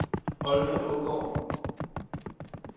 Olga Aagaard